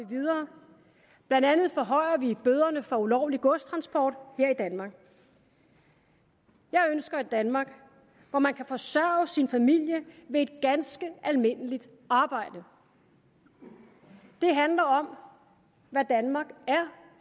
vi videre blandt andet forhøjer vi bøderne for ulovlig godstransport her i danmark jeg ønsker et danmark hvor man kan forsørge sin familie ved et ganske almindeligt arbejde det handler om hvad danmark er